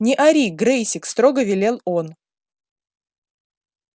не ори грэйсик строго велел он